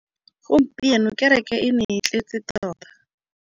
Gompieno kêrêkê e ne e tletse tota.